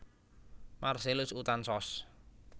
Marcellus Uthan Ssos